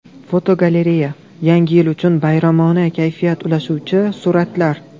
Fotogalereya: Yangi yil uchun bayramona kayfiyat ulashuvchi suratlar.